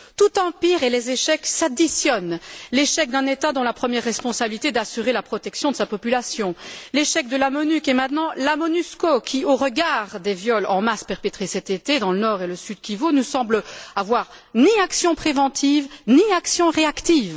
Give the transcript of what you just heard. Tout empire et les échecs s'additionnent l'échec d'un État dont la première responsabilité est d'assurer la protection de sa population, l'échec de la MONUC et maintenant de la MONUSCO, qui, au regard des viols en masse perpétrés cet été dans le Nord et le Sud Kivu, ne semble avoir mené ni action préventive, ni action réactive.